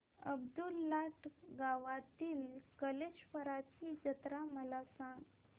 अब्दुललाट गावातील कलेश्वराची जत्रा मला सांग